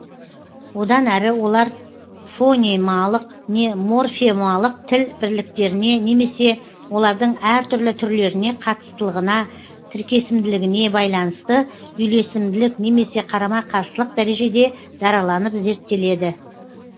одан әрі олар фонемалық не морфемалық тіл бірліктеріне немесе олардың әр түрлі түрлеріне қатыстылығына тіркесімділігіне байланысты үйлесімділік немесе қарама қарсылық дәрежеде дараланып зерттеледі